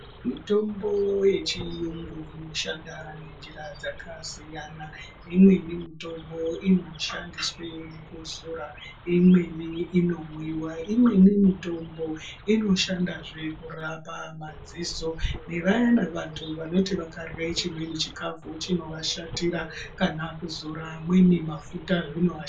Mitombo mizhinji inoshanda ngenjira dzakasiyana siyana imweni mitombo inoshandiswe kuzora imweni inomwiwa imweni zvee mitombo inoshanda kurapa madziso nevamweni vandu vekuti vakadye chimweni chikafu chinovashatira kana kuzora mamweni mafuta zvinovashatira.